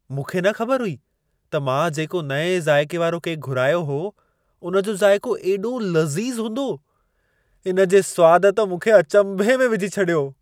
मूंखे न ख़बर हुई त मां जेको नएं ज़ाइके वारो केक घुरायो हो, उन जो ज़ाइको एॾो लज़ीज़ हूंदो। इन जे स्वाद त मूंखे अचंभे में विझी छॾियो।